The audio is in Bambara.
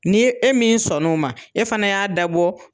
N'i ye e min sɔnn'o ma e fana y'a dabɔ